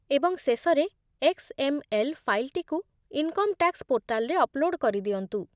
ଏବଂ ଶେଷରେ ଏକ୍ସ.ଏମ୍.ଏଲ୍. ଫାଇଲ୍‌ଟିକୁ ଇନକମ୍ ଟ୍ୟାକ୍ସ ପୋର୍ଟାଲରେ ଅପ୍‌ଲୋଡ଼ କରିଦିଅନ୍ତୁ